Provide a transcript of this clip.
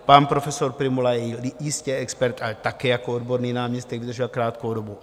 Pan profesor Prymula je jistě expert, ale také jako odborný náměstek vydržel krátkou dobu.